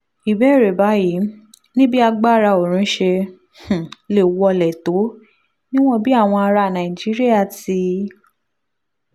ìbéèrè báyìí ni bí agbára oorun ṣe um lè wọlé tó níwọ̀n bí àwọn ará nàìjíríà ti